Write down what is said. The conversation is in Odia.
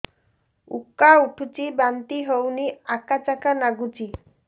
ଉକା ଉଠୁଚି ବାନ୍ତି ହଉନି ଆକାଚାକା ନାଗୁଚି